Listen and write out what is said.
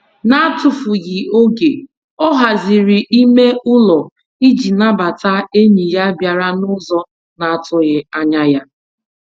N'atufughị oge, ọ haziri ime ụlọ ịji nabata enyi ya bịara n'ụzọ na-atụghị anya ya.